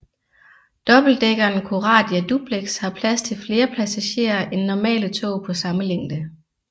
Dobbeltdækkeren Coradia Duplex har plads til flere passagerer end normale tog på samme længde